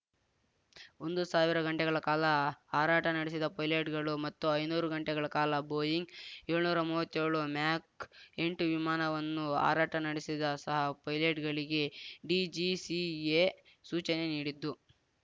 ಒಂದು ಸಾವಿರ ಗಂಟೆಗಳ ಕಾಲ ಹಾರಾಟ ನಡೆಸಿದ ಪೈಲಟ್‌ಗಳು ಮತ್ತು ಐನೂರು ಗಂಟೆಗಳ ಕಾಲ ಬೋಯಿಂಗ್ ಯೊಳ್ನೂರಾ ಮೂವತ್ತೇಳು ಮ್ಯಾಕ್ ಎಂಟು ವಿಮಾನವನ್ನು ಹಾರಾಟ ನಡೆಸಿದ ಸಹ ಪೈಲಟ್‌ಗಳಿಗೆ ಡಿಜಿಸಿಎ ಸೂಚನೆ ನೀಡಿದ್ದು